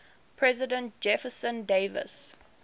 president jefferson davis